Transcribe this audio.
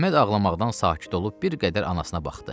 Əhməd ağlamaqdan sakit olub bir qədər anasına baxdı.